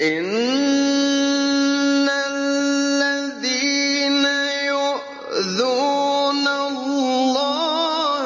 إِنَّ الَّذِينَ يُؤْذُونَ اللَّهَ